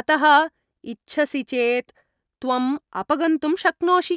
अतः इच्छसि चेत् त्वम् अपगन्तुं शक्नोषि।